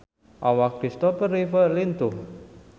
Awak Kristopher Reeve lintuh